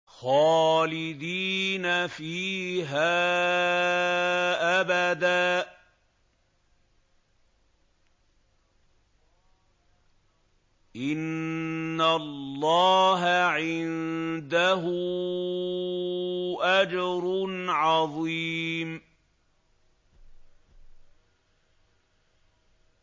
خَالِدِينَ فِيهَا أَبَدًا ۚ إِنَّ اللَّهَ عِندَهُ أَجْرٌ عَظِيمٌ